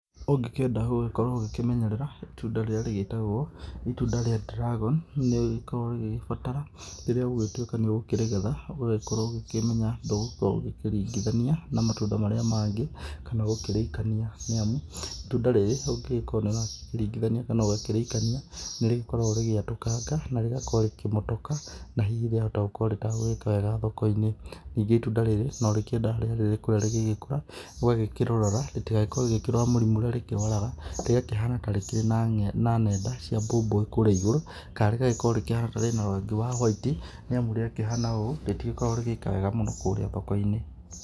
Ũngĩkĩenda gũgĩkorwo ũgĩkĩmenyerera itunda rĩrĩa rĩgĩtagwo rĩa dragon nĩ rĩkoragwo rĩgĩgĩbatara rĩrĩa gũgũtuĩka nĩ ũkũrĩgetha ũgagĩkorwo ũgĩkĩmenya ndũgũgĩkorwo ũkĩringithania na matunda marĩa mangĩ kana gũkĩrĩikania. Nĩ amu, itunda rĩrĩ ũngĩgĩkorwo nĩ ũragĩkĩringithania kana ũgakĩrĩikania nĩ rĩkoragwo rĩgĩatũkanga kana rĩgakorwo rĩkĩmotoka. Na hihi rĩakorwo rĩtagũgĩka wega thoko-inĩ ningĩ itunda rĩrĩ no rikĩendaga rĩrĩa rĩkũrĩa rĩgĩgĩkũra ũgagĩkĩrĩrora rĩtigagĩkorwo rĩgĩkĩrwara mĩrimũ ĩrĩa rĩkĩrwaraga, rĩgakĩhana tareĩ kĩrĩ na ng'enda cia mbũmbũĩ kũrĩa igũrũ. Kana rĩgagĩkorwo rĩkĩhana ta rĩna rangi wa hoiti, nĩ amu rĩakĩhana ũũ rĩtigĩkoragwo rĩgĩka wega mũno kũrĩa thoko-inĩ.